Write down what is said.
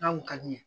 N'a kun ka di n ye